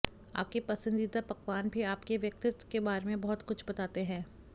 आपके पसंदीदा पकवान भी आपके व्यक्तित्व के बारे में बहुत कुछ बाताते है